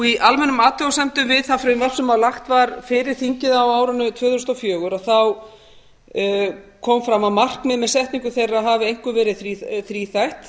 í almennum athugasemdum við það frumvarp sem lagt var fyrir þingið á árinu tvö þúsund og fjögur kom fram að markmið með setningu þeirra hafi einkum verið þríþætt